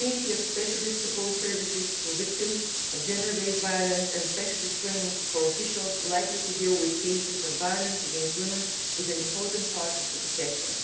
The continuity of specialist support services to victims of gender based violence and specialist training for officials likely to deal with cases of violence against women is an important part of the protection.